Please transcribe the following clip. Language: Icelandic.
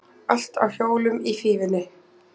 Allt á hjólum í Fífunni